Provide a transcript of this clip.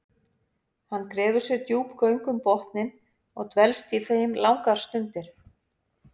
Hann grefur sér djúp göng um botninn og dvelst í þeim langar stundir.